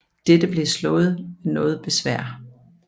Dette blev slået ned med noget besvær